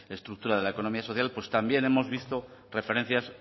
estructura de la economía social pues también hemos visto referencias